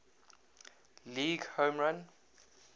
league home run